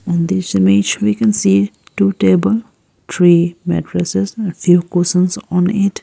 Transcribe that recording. On this image we can see two table three mattresses and few cushions on it.